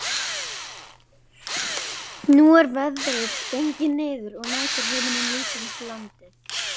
Nú er veðrið gengið niður og næturhiminninn lýsir upp landið.